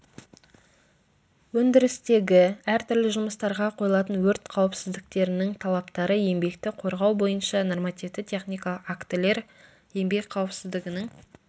өндірістегі әртүрлі жұмыстарға қойылатын өрт қауіпсіздіктерінің талаптары еңбекті қорғау бойынша нормативті техникалық актілер еңбек қауіпсіздігінің